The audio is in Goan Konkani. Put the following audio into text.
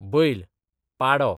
बैल, पाडो